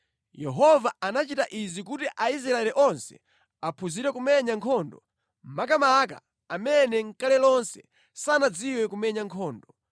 (Yehova anachita izi kuti Aisraeli onse aphunzire kumenya nkhondo; makamaka amene nʼkale lonse sanadziwe kumenya nkhondo.